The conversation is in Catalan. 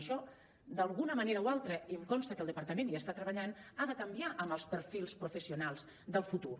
això d’alguna manera o altra i em consta que el departament hi està treballant ha de canviar amb els perfils professionals del futur